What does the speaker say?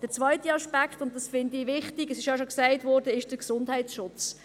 Der zweite Aspekt, den ich wichtig finde – es wurde bereits gesagt –, betrifft den Gesundheitsschutz.